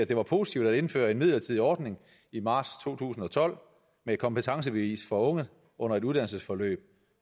det var positivt at indføre en midlertidig ordning i marts to tusind og tolv med et kompetencebevis for unge under et uddannelsesforløb